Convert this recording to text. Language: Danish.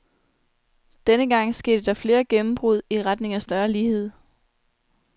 Denne gang skete der flere gennembrud i retning af større lighed.